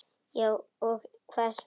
Já og hvað svo!